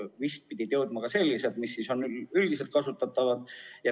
Vist pidid müügile jõudma ka sellised testid, mis on üldkasutatavad.